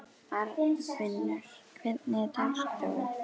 Arnfinnur, hvernig er dagskráin?